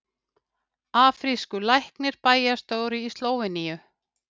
Afrískur læknir bæjarstjóri í Slóveníu